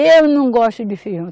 Eu não gosto de feijão.